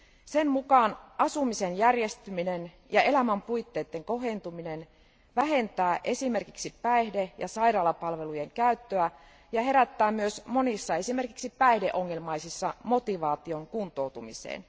Sen mukaan asumisen järjestyminen ja elämänpuitteiden kohentuminen vähentää esimerkiksi päihde ja sairaalapalveluiden käyttöä ja herättää myös monissa esimerkiksi päihdeongelmaisissa motivaation kuntoutumiseen.